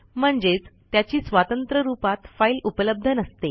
म्हणजेच त्याची स्वतंत्र रूपात फाईल उपलब्ध नसते